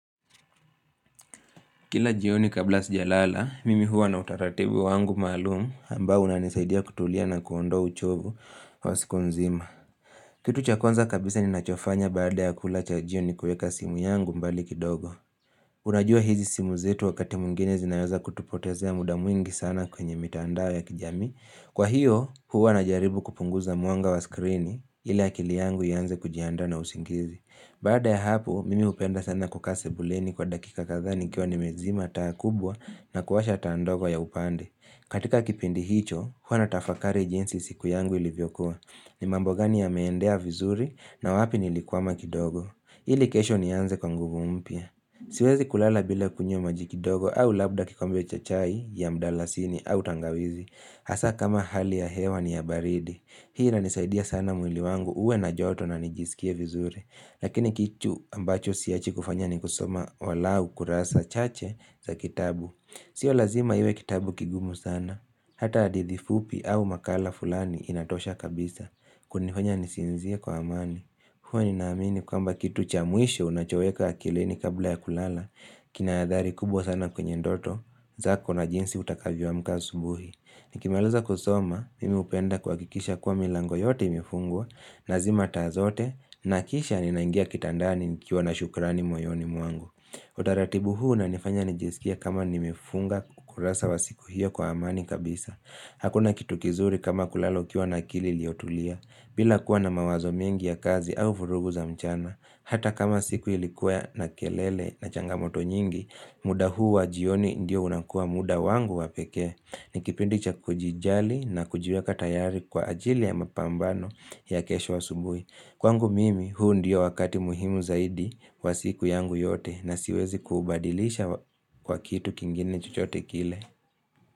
Kila jio ni kabla sijalala, mimi huwa na utaratibu wangu malumu ambao unanisaidia kutulia na kuondoa uchovu wa siku nzima. Kitu cha kwanza kabisa ni nachofanya baada ya kula chajio ni kueka simu yangu mbali kidogo. Unajua hizi simu zetu wakati mwingine zinaweza kutupotezea mudamwingi sana kwenye mitandao ya kijamii Kwa hiyo, huwa na jaribu kupunguza mwanga wa skrini ili akili yangu ianze kujianda na usingizi. Baada ya hapo, mimi upenda sana kukase buleni kwa dakika kadha nikiwa ni mezima taa kubwa na kuwasha taa ndogo ya upande. Katika kipindi hicho, huwa na tafakari jinsi siku yangu ilivyo kuwa. Ni mambo gani ya meendea vizuri na wapi nili kwama kidogo. Ili kesho ni anze kwa nguvu mpya. Siwezi kulala bila kunywa majikidogo au labda kikombe chachai ya mdalasini au tangawizi. Hasa kama hali ya hewa ni ya baridi. Hii ina nisaidia sana mwili wangu uwe na joto na nijisikie vizuri. Lakini kichu ambacho siachi kufanya ni kusoma walau kurasa chache za kitabu. Sio lazima iwe kitabu kigumu sana. Hata hadithi fupi au makala fulani inatosha kabisa. Kunifanya nisinzie kwa amani. Huwa ni naamini kwamba kitu chamwisho unachoweka akilini kabla ya kulala. Kinaadhari kubwa sana kwenye ndoto. Zako na jinsi utakavyo amka asubuhi. Nikimaliza kusoma, mimi hupenda kuhakikisha kuwa milango yote imefungwa. Na zima taa zote, na kisha ninaingia kitandani nikiwa na shukrani moyoni mwangu Utaratibu huu una nifanya nijisikie kama nimefunga kurasa wa siku hiyo kwa amani kabisa Hakuna kitu kizuri kama kulala ukiwa na akili iliotulia bila kuwa na mawazo mingi ya kazi au vurugu za mchana Hata kama siku ilikuwa na kelele na changamoto nyingi muda huu wa jioni ndio unakua muda wangu wa peke ni kipindi cha kujijali na kujiweka tayari kwa ajili ya mapambano ya kesho asubui Kwangu mimi huu ndiyo wakati muhimu zaidi kwa siku yangu yote na siwezi kuubadilisha kwa kitu kingine chochote kile.